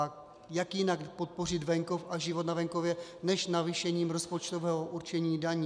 A jak jinak podpořit venkov a život na venkově než navýšením rozpočtového určení daní?